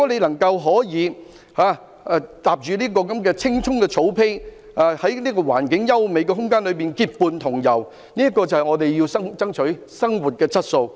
能夠踏上青蔥的草地，在環境優美的空間結伴同遊，這是我們要爭取的生活質素。